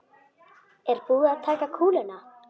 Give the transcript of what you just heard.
Er búið að taka kúluna?